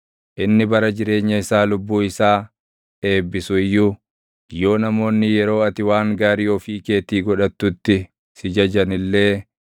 Inni bara jireenya isaa lubbuu isaa eebbisu iyyuu, yoo namoonni yeroo ati waan gaarii ofii keetii godhattutti si jajan illee,